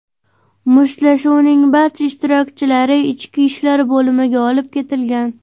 Mushtlashuvning barcha ishtirokchilari Ichki ishlar bo‘limiga olib ketilgan.